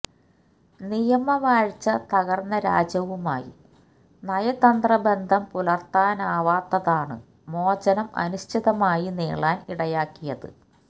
നിയമവാഴ്ച തകർന്ന രാജ്യവുമായി നയതന്ത്രബന്ധം പുലർത്താനാവാത്തതാണ് മോചനം അനിശ്ചിതമായി നീളാൻ ഇടയാക്കിയത്